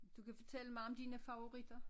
Du kan fortælle mig om dine favoritter